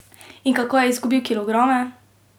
In kako je izgubil kilograme?